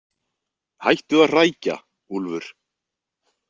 Hættu að hrækja, Úlfur.